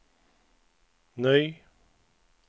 ny